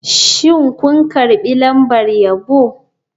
Shin kun karbi lambar yabo?